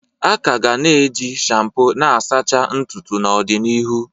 A ka ga-eji shampoo n'asachaa ntutu n'ọdịnihu